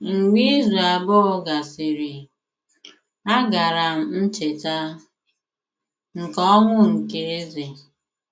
Mgbe izu abụọ gasịrị, agara m Ncheta nke Ọnwụ nke Eze